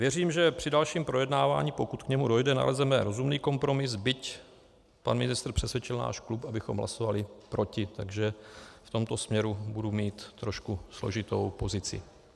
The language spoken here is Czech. Věřím, že při dalším projednávání, pokud k němu dojde, nalezneme rozumný kompromis, byť pan ministr přesvědčil náš klub, abychom hlasovali proti, takže v tomto směru budu mít trošku složitou pozici.